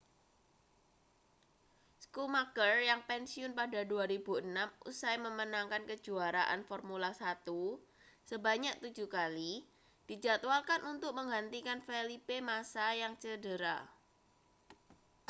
schumacher yang pensiun pada 2006 usai memenangkan kejuaraan formula 1 sebanyak tujuh kali dijadwalkan untuk menggantikan felipe massa yang cedera